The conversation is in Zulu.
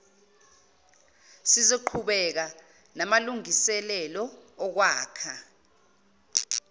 sizoqhubeka namalungiselelo okwakha